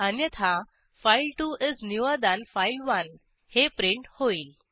अन्यथा file two is newer than file one हे print होईल